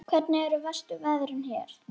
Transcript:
Ég fylgdi bara skip unum.